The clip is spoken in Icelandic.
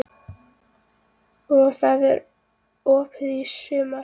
Og það er opið í sumar?